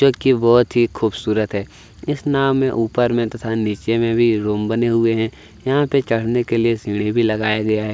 जो की बहुत ही खुबसुरत है इस नावो में ऊपर में तथा नीचे में भी रूम बने हुए है यहाँ पे चड़ने के लिए सीढ़ी भी लगाया गया है।